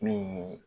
Min